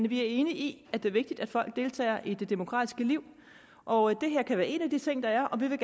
vi er enige i at det er vigtigt at folk deltager i det demokratiske liv og det her kan være en af de ting der er og vi vil